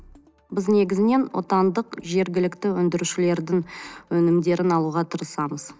біз негізінен отандық жергілікті өндірушілердің өнімдерін алуға тырысамыз